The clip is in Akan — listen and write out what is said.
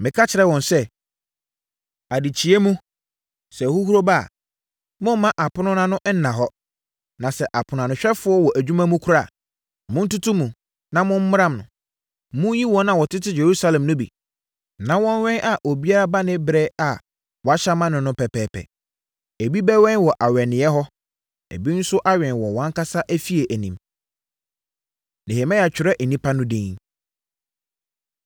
Meka kyerɛɛ wɔn sɛ, “Adekyeeɛ mu, sɛ ahuhuro ba a, mommma apono no ano nna hɔ. Na sɛ aponoanohwɛfoɔ wɔ adwuma mu koraa a, montoto mu, na mommram no. Monyi wɔn a wɔtete Yerusalem no bi, na wɔnnwɛn a obiara ba ne ɛberɛ a wɔahyɛ ama no no pɛpɛɛpɛ. Ebi bɛwɛn wɔ awɛneeɛ hɔ, na ebi nso awɛn wɔ wɔn ankasa afie anim.” Nehemia Twerɛ Nnipa No Edin